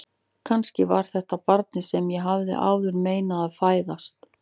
Kannski var þetta barnið sem ég hafði áður meinað að fæðast.